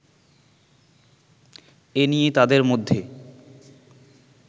এ নিয়ে তাদের মধ্যে